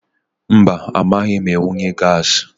Mba amaghị m amunye gaasi.